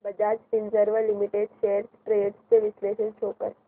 Bajaj Finserv limited shares trends चे विश्लेषण show कर